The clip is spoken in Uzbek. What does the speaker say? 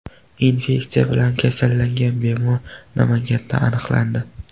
Infeksiya bilan kasallangan bemor Namanganda aniqlandi.